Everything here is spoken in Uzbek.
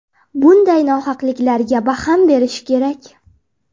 Bunday nohaqliklarga barham berish kerak.